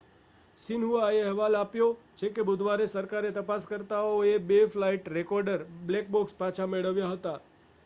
"શિન્હુઆએ અહેવાલ આપ્યો છે કે બુધવારે સરકારી તપાસકર્તાઓએ બે ફ્લાઇટ રેકોર્ડર "બ્લેક બૉક્સ" પાછા મેળવ્યા હતા.